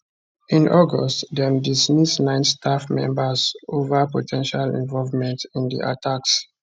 in august dem dismiss nine staff members ova po ten tial involvement in di attacks